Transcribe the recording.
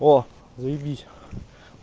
о заебись